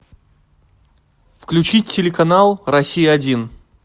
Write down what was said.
включи телеканал россия один